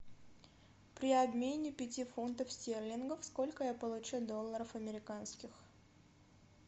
при обмене пяти фунтов стерлингов сколько я получу долларов американских